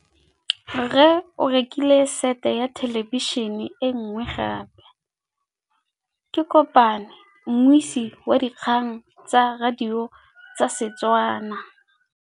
Rre o rekile sete ya thêlêbišênê e nngwe gape. Ke kopane mmuisi w dikgang tsa radio tsa Setswana.